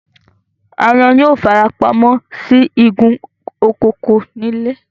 Aáyán yóò fara pa mọ́ sí igun òkùnkùn ilé